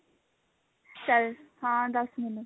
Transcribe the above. ਚੱਲ ਹਾਂ ਦੱਸ ਮੈਨੂੰ